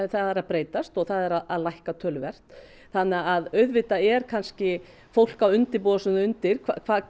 það er að breytast og það er að lækka töluvert þannig að auðvitað er kannski fólk að undirbúa sig undir